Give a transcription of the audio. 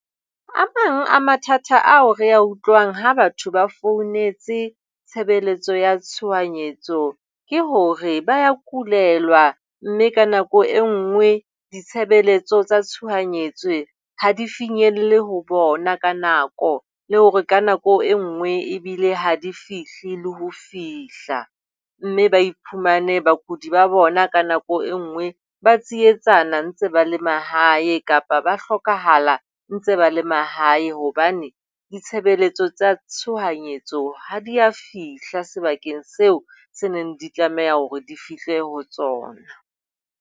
A mang a mathata ao re a utlwang ha batho ba founetse tshebeletso ya tshohanyetso ke hore ba a kulelwa mme ka nako e nngwe ditshebeletso tsa tshohanyetso ha di finyelle ho bona ka nako, le hore ka nako e nngwe ebile ha di fihle le ho fihla mme ba iphumane bakudi ba bona ka nako e nngwe ba tsietsana ba ntse ba le le mahae kapa ba hlokahala ntse ba le mahae hobane ditshebeletso tsa tshohanyetso ha di a fihla sebakeng seo se neng di tlameha hore di fihle ho tsona.